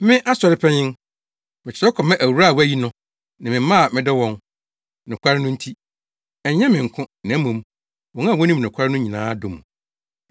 Me, Asɔre Panyin, Mekyerɛw kɔma Awuraa a wɔayi no ne ne mma a medɔ wɔn, nokware no nti. Ɛnyɛ me nko, na mmom, wɔn a wonim nokware no nyinaa dɔ mo,